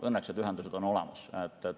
Õnneks on ühendused olemas.